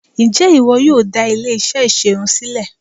Ǹjẹ́ ìwọ yóò dá ilé-iṣẹ́ ìṣerun sílẹ̀?